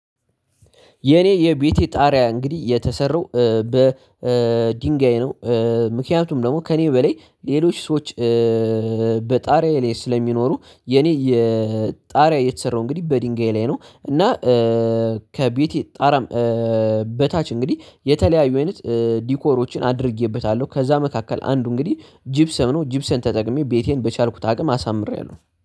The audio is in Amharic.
የኔ የቤቴ ጣሪያ እንግዲህ የተሰራው በድንጋይ ነው። ምክንያቱም ደግሞ ከኔ በላይ ሌሎች ሰዎች። በጣሪያዬ ላይ ስለሚኖሩ የኔ የጣሪያ የተሰራው እንግዲህ በድንጋይ ላይ ነው። እና ከቤቴ ጣራም በታች እንግዲህ የተለያዩ አይነት ዲኮሮችን አድርጌበታለሁ። ከዛ መካከል አንዱ እንግዲህ ጅብሰን ነው ጅብሰን ተጠቅሜ ቤቴን በቻልኩት አቅም አሳምሬያለሁ